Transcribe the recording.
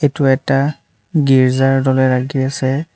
এইটো এটা গীৰ্জাৰ দৰে লাগি আছে।